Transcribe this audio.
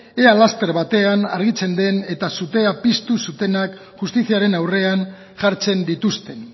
ea laster batean argitzen den eta sutez piztu zutenak justiziaren aurrean jartzen dituzten